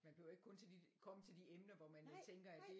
Man behøver ikke kun komme til de emner hvor man tænker at det